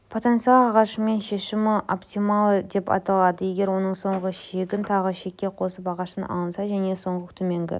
потенциалды ағашының шешімі оптималы деп аталады егер оның соңғы шегін тағы шекке қосып ағаштан алынса және соңғы төменгі